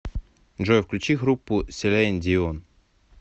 джой включи группу селин дион